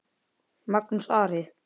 Magnús Ari.